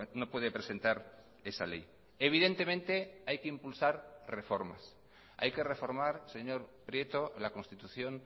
no puede presentar esa ley evidentemente hay que impulsar reformas hay que reformar señor prieto la constitución